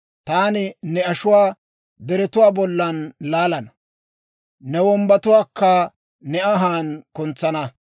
Taani ne ashuwaa deretuwaa bollan laalana; ne wombbatuwaakka ne anhaan kuntsana.